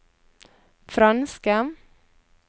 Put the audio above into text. franske